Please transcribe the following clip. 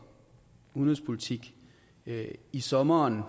udenrigspolitik i sommeren